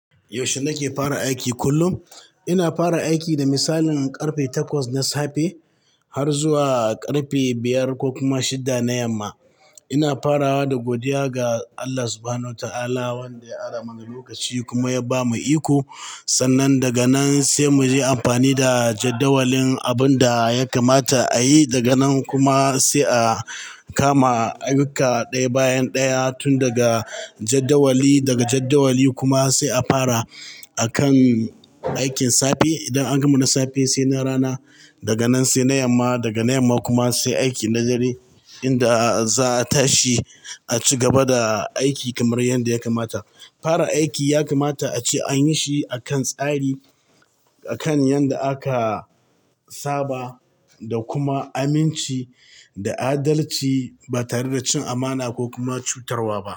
Yaushe nake fara aiki? Kullum ina fara aiki da misalin ƙarfe takwas na safe har zuwa ƙarfe biyar ko kuma shidda na yamma. Ina farawa da godiya ga Allah Subhanahu wa ta'ala wanda ya ara mana lokaci kuma ya ba mu iko, sannan daga nan sai mu je amfani da jadawalin abun da ya kamata a yi. Daga nan kuma sai a kama ayyuka ɗaya bayan ɗaya tun daga jadawali. Daga jadawali kuma sai a fara akan aikin safe. Idan an gama na safe sai na rana, daga nan sai na yamma daga na yamma kuma sai aiki na dare inda za a tashi a ci gaba da aiki kamar yadda ya kamat. Fara aiki ya kamata a ce an yi shi akan tsari, akan yadda aka saba da kuma aminci da adalci ba tare da cin amana ko kuma cutarwa ba.